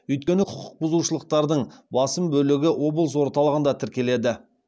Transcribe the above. өйткені құқықбұзушылықтардың басым бөлігі облыс орталығында тіркеледі